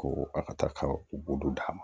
Ko a ka taa ka u bolo d'a ma